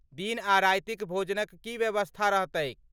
दिन आ रातिक भोजनक की व्यवस्था रहतैक?